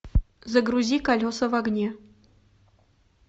загрузи колеса в огне